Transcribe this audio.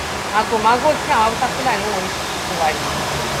magomago tí àwọn haúsáfúlání wọnyí sì ṣe fún wa nìyẹn